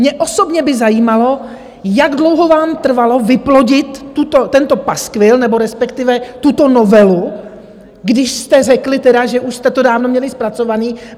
Mě osobně by zajímalo, jak dlouho vám trvalo vyplodit tento paskvil, nebo respektive tuto novelu, když jste řekli tedy, že už jste to dávno měli zpracované.